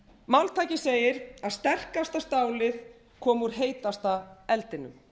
máltækið segir að sterkasta stálið komi úr heitasta eldinum